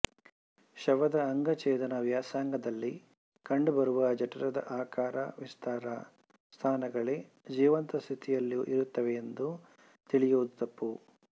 ಶವದ ಅಂಗಛೇದನಾ ವ್ಯಾಸಂಗದಲ್ಲಿ ಕಾಣಬರುವ ಜಠರದ ಆಕಾರ ವಿಸ್ತಾರ ಸ್ಥಾನಗಳೇ ಜೀವಂತಸ್ಥಿತಿಯಲ್ಲೂ ಇರುತ್ತವೆಯೆಂದು ತಿಳಿಯುವುದು ತಪ್ಪು